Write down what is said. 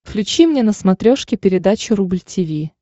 включи мне на смотрешке передачу рубль ти ви